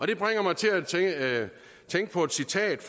det bringer mig til at tænke på et citat